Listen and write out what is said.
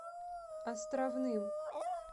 островным